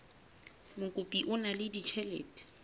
mokopi o na le ditjhelete